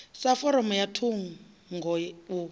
sa foramu ya thungo u